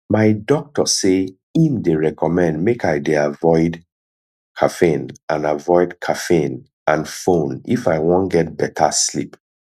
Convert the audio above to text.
my doctor say im dey recommend make i dey avoide caffeine and avoide caffeine and phone if i wan get better sleep